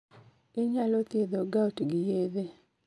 Inyalo thiedho gout gi yedhe